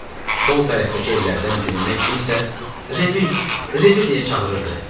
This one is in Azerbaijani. Sol tərəfdəki evlərdən birindən kimsə Remi, Remi deyə çağırırdı.